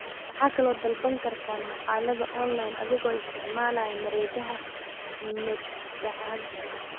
Waxa kale oo aad ka dalban kartaa maqaallada onlayn adiga oo isticmaalaya mareegaha madbacadaha.